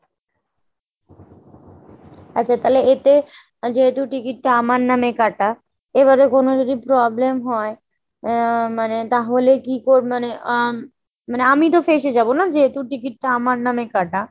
আচ্ছা তাহলে এতে যেহেতু ticket টা আমার নামে কাটা এবারে কোনো যদি problem হয়, আহ মানে তাহলে কি মানে উম আমিতো ফেঁসে যাবো নাহ যেহেতু ticket টা আমার নামে কাটা ?